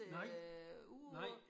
Nej nej